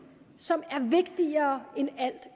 som er vigtigere